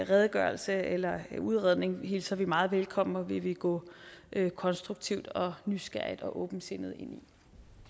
redegørelse eller udredning hilser vi meget velkommen og vi vil gå konstruktivt og nysgerrigt og åbensindet ind